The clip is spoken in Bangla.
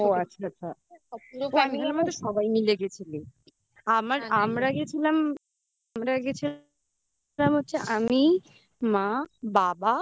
ও আচ্ছা আচ্ছা সবাই মিলে গেছিলি। আমার গেছিলাম আমরা গেছিলাম আমি মা বাবা